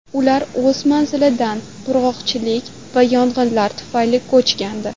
Ular o‘z manzilidan qurg‘oqchilik va yong‘inlar tufayli ko‘chgandi.